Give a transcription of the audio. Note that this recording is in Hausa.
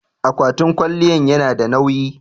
akwatin kwaliyan yanada nawyi